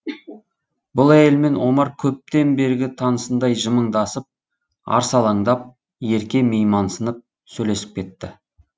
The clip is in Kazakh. бұл әйелмен омар көптен бергі танысындай жымыңдасып арсалаңдап ерке меймансынып сөйлесіп кетті